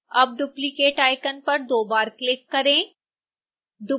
अब duplicate icon पर दो बार क्लिक करें